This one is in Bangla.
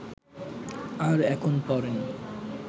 আর এখন পরেন